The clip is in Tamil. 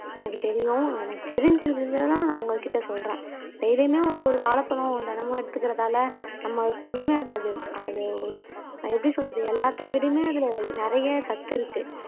எனக்கு தெரியும் எனக்கு தெரிஞ்சிருந்ததுதான் நான் உங்க கிட்ட சொல்றேன். டெய்லியுமே ஒரு ஒரு வாழைப்பழம் தினமும் எடுத்துக்கறதால நம்ம அதுக்கு ஒண்ணுமே ஆகாது அது ஒரு நான் எப்படி சொல்றது எல்லாத்தை விடயுமே அதுல நிறைய சத்து இருக்கு.